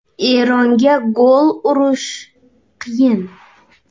Eronga gol urish qiyin.